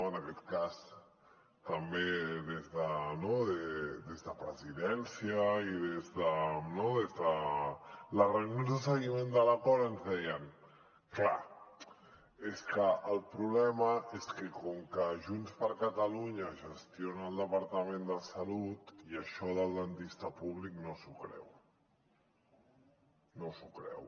en aquest cas també des de presidència i des de les reunions de seguiment de l’acord ens deien clar és que el problema és que com que junts per catalunya gestiona el departament de salut això del dentista públic no s’ho creu no s’ho creu